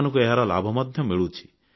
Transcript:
ସେମାନଙ୍କୁ ଏହାର ଲାଭ ମଧ୍ୟ ମିଳୁଛି